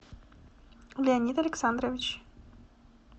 леонид александрович